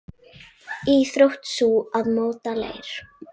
Íþrótt sú að móta leir.